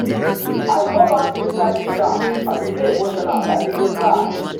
i go back inside di car i bin dey emotional i bin dey cry.